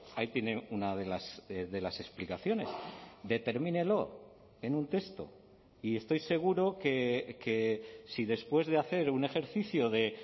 ahí tiene una de las explicaciones determínelo en un texto y estoy seguro que si después de hacer un ejercicio de